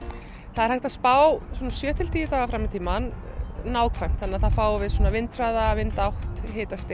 það er hægt að spá svona sjö til tíu daga fram í tímann nákvæmt þá fáum við vindhraða vindátt